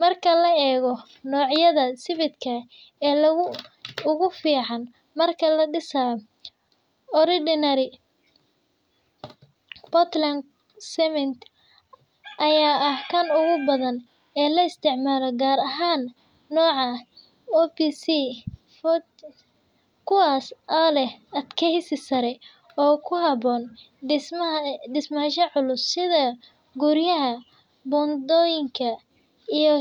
marka la eego nocyada sibidhka ee ugu fican marka ladisaayo Portland Smith ayaa ah kan ugu badan ee la isticmaalo gaar ahaan nooca ah, kuwaas oo leh adkeesi culus oo kuhaboon sida bundooyinka, guryaha.